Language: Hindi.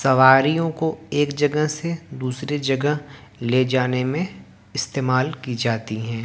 सवारियों को एक जगह से दूसरे जगह ले जाने में इस्तेमाल की जाती है।